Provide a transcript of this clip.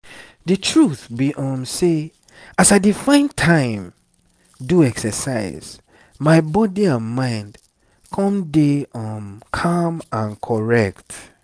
the truth be um sey as i dey find time do exercise my body and mind come dey um calm and correct.